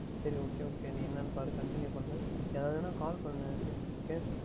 சரி Okay Okay நீ என்னவென்று பார் Continue பண்ணு எதாவுது என்றால் Call பண்ணு